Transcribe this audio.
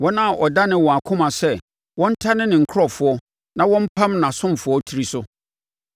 wɔn a ɔdanee wɔn akoma sɛ wɔntane ne nkurɔfoɔ na wɔmpam nʼasomfoɔ tiri so.